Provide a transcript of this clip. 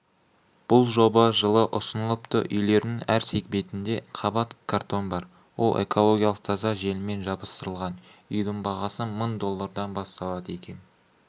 бұл жоба жылы ұсынылыпты үйлерінің әр сегментінде қабат картон бар ол экологиялық таза желіммен жабыстырылған үйдің бағасы мың доллардан басталады екен